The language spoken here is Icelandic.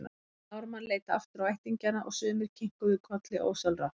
Jón Ármann leit aftur á ættingjana og sumir kinkuðu kolli ósjálfrátt.